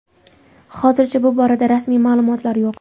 Hozircha bu borada rasmiy ma’lumotlar yo‘q.